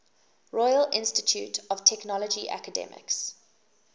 royal institute of technology academics